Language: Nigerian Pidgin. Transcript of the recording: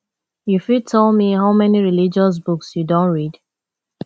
u fit tell me how many religious books you don read